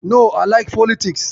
No, I like politics.